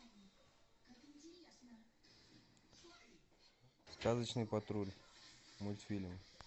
сказочный патруль мультфильм